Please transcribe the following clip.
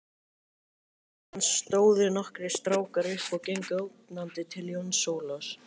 Síðan stóðu nokkrir strákar upp og gengu ógnandi til Jóns Ólafs.